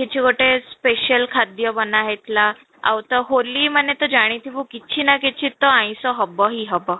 କିଛି ଗୋଟେ special ଖାଦ୍ୟ ବନା ହେଇଥିଲା, ଆଉ ତ ହୋଲି ମାନେ ତ ଜାଣିଥିବୁ କିଛି ନା କିଛି ତ ଆଇଁଷ ହବ ହିଁ ହବ